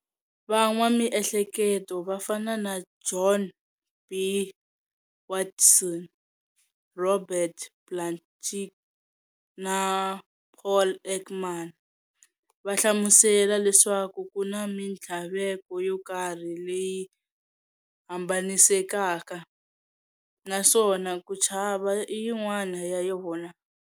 Van'wa Mihleketo vo fana na John B. Watson, Robert Plutchik, na Paul Ekman va hlamusela leswaku kuna minthlaveko yo karhi leyi hambanisekaka, naswona ku chava i yin'wana ya yona.